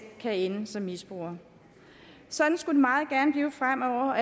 kan ende som misbruger sådan skulle det meget gerne blive fremover og